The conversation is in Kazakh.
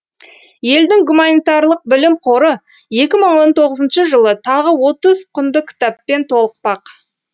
елдің гуманитарлық білім қоры екі мың он тоғызыншы жылы тағы отыз құнды кітаппен толықпақ